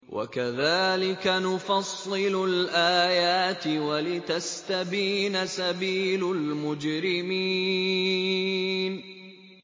وَكَذَٰلِكَ نُفَصِّلُ الْآيَاتِ وَلِتَسْتَبِينَ سَبِيلُ الْمُجْرِمِينَ